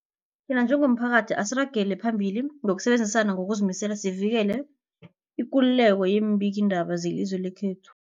Thina njengomphakathi, asiragele phambili ngokusebenzisana ngokuzimisela sivikele ikululeko yeembikiindaba zelizwe lekhethu.